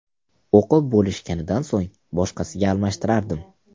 O‘qib bo‘lishganidan so‘ng boshqasiga almashtirardim.